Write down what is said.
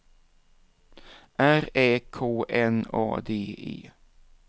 R Ä K N A D E